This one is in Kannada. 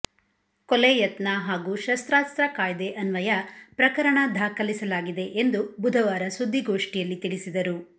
ಕೊಲೆ ಯತ್ನ ಹಾಗೂ ಶಸ್ತ್ರಾಸ್ತ್ರ ಕಾಯ್ದೆ ಅನ್ವಯ ಪ್ರಕರಣ ದಾಖಲಿಸಲಾಗಿದೆ ಎಂದು ಬುಧವಾರ ಸುದ್ದಿಗೋಷ್ಠಿಯಲ್ಲಿ ತಿಳಿಸಿದರು